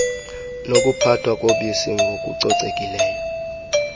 nokuphathwa kobisi ngokucocekileyo